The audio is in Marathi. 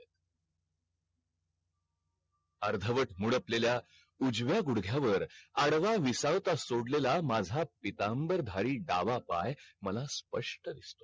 अर्धवट मुडपलेल्या उजव्या गुडघ्यावर आडवा विसावता सोडलेला माझा पितांबर धारी डावा पाय मला स्पष्ट दिसतोय